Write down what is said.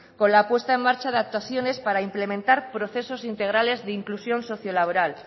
con la puesta en marcha de actuaciones para implementar procesos integrales de inclusión socio laboral